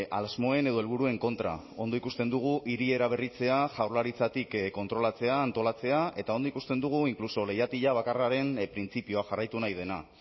asmoen edo helburuen kontra ondo ikusten dugu hiri eraberritzea jaurlaritzatik kontrolatzea antolatzea eta ondo ikusten dugu inkluso leihatila bakarraren printzipioa jarraitu nahi dena